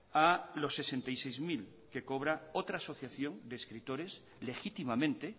a los sesenta y seis mil que cobra otra asociación de escritores legítimamente